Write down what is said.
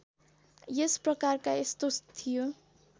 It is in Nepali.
यसप्रकारका यस्तो थियो